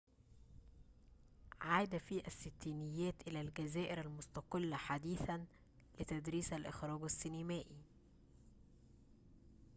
عاد في الستينيات إلى الجزائر المستقلة حديثًا لتدريس الإخراج السينمائي